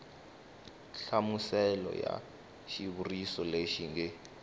nhlamuselo ya xivuriso lexi nge